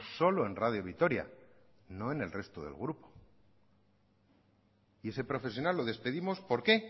solo en radio vitoria no en el resto del grupo y ese profesional lo despedimos por qué